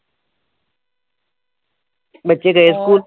ਬੱਚੇ ਗਏ ਸਕੂਲ